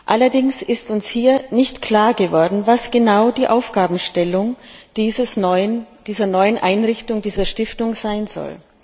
Allerdings ist uns hier nicht klar geworden, was genau die Aufgabenstellung dieser neuen Einrichtung, dieser Stiftung sein soll.